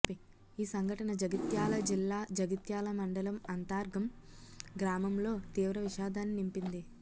ఈ సంఘటన జగిత్యాల జిల్లా జగిత్యాల మండలం అంతర్గాం గ్రామంలో తీవ్ర విషాదాన్ని నింపింది